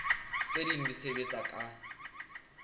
tse ding di sebetsa ka